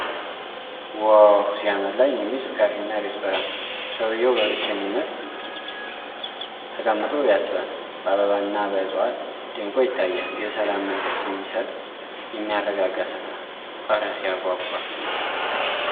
ዋው ሲያምር! ለዓይን የሚስብ ካፌና ሬስቶራንት! ሰውየው በብቸኝነት ተቀምጦ ያስባል። በአበባና በዕፀዋት ደምቆ ይታያል። የሰላም መንፈስ የሚሰጥ የሚያረጋጋ ስፍራ። እረ ሲያጓጓ